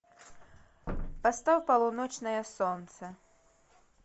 поставь полуночное солнце